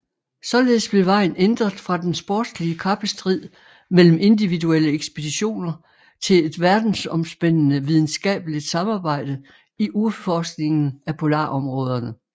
Således blev vejen ændret fra den sportslige kappestrid mellem individuelle ekspeditioner til et verdensomspændende videnskabeligt samarbejde i udforskningen af polarområderne